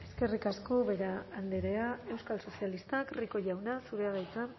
eskerrik asko ubera andrea euskal sozialistak rico jauna zurea da hitza